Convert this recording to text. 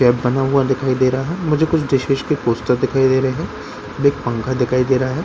दिखाई दे रहा मुझे कुछ के पोस्टर दिखाई दे रहे एक पंखा दिखाई दे रहा है।